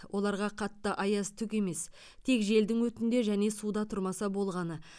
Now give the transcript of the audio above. оларға қатты аяз түк емес тек желдің өтінде және суда тұрмаса болғаны